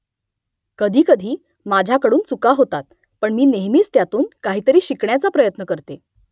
कधीकधी माझ्याकडून चुका होतात . पण मी नेहमीच त्यातून काहीतरी शिकण्याचा प्रयत्न करते